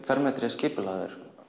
skipulagt